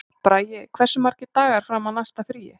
Bragi, hversu margir dagar fram að næsta fríi?